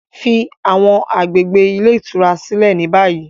Fi awọn agbegbe ile itura silẹ ni bayi!